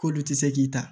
K'olu tɛ se k'i ta